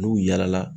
N'u yɛlɛla